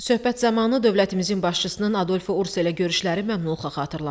Söhbət zamanı dövlətimizin başçısının Adolfo Urso ilə görüşləri məmnunluqla xatırlandı.